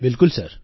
બિલકુલ સર